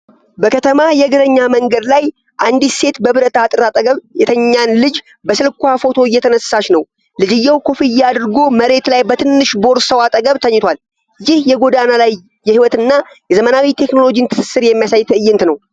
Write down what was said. በከተማ የእግረኛ መንገድ ላይ አንዲት ሴት በብረት አጥር አጠገብ የተኛን ልጅ በስልክዋ ፎቶ እየተነሳች ነው። ልጅየው ኮፍያ አድርጎ መሬት ላይ በትንሽ ቦርሳው አጠገብ ተኝቷል። ይህ የጎዳና ላይ ሕይወትንና የዘመናዊ ቴክኖሎጂን ትስስር የሚያሳይ ትዕይንት ነው።